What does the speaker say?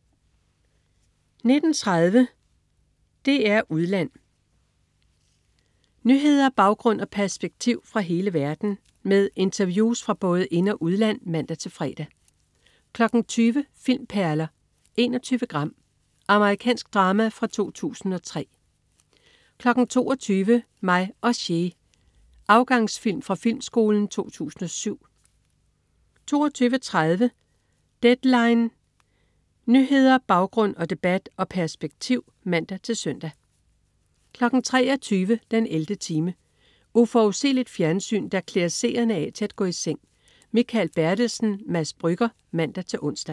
19.30 DR2 Udland. Nyheder, baggrund og perspektiv fra hele verden med interviews fra både ind- og udland (man-fre) 20.00 Filmperler: 21 gram. Amerikansk drama fra 2003 22.00 Mig og Che. Afgangsfilm fra Filmskolen 2007 22.30 Deadline. Nyheder, baggrund, debat og perspektiv (man-søn) 23.00 den 11. time. Uforudsigeligt fjernsyn, der klæder seerne af til at gå i seng. Mikael Bertelsen/Mads Brügger (man-ons)